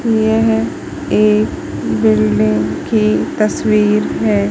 यह एक बिल्डिंग की तस्वीर है।